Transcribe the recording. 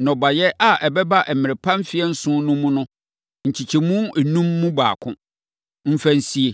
nnɔbaeɛ a ɛbɛba mmerɛ pa mfeɛ nson no mu no nkyɛmu enum mu baako, mfa nsie.